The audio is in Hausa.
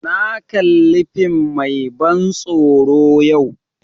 Na kali fim mai ban tsoro yau